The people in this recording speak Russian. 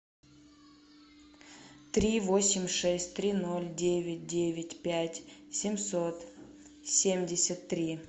три восемь шесть три ноль девять девять пять семьсот семьдесят три